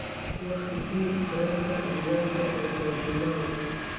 waqti i sii tareenka deegaanka ee syokimau